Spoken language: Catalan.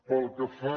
pel que fa